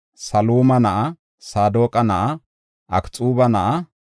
Saluma na7a; Saadoqa na7a; Akxuuba na7a;